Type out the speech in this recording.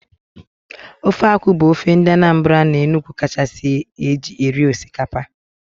Ofe akwụ bụ ofe ndị Anambra na Enugu kachasị eji eri osikaoa